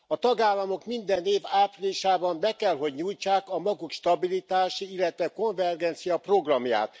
A tagállamok minden év áprilisában be kell hogy nyújtsák a maguk stabilitási, illetve konvergencia programját.